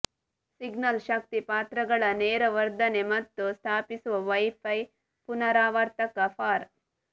signal ಶಕ್ತಿ ಪಾತ್ರಗಳ ನೇರ ವರ್ಧನೆ ಮತ್ತು ಸ್ಥಾಪಿಸುವ ವೈಫೈ ಪುನರಾವರ್ತಕ ಫಾರ್